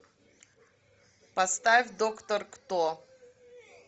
поставь доктор кто